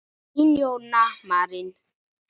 Þín, Jóna Marín.